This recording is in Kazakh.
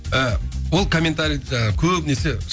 ы ол комментариді көбінесе